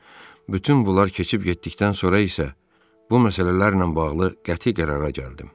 Bütün bunlar keçib getdikdən sonra isə bu məsələlərlə bağlı qəti qərara gəldim.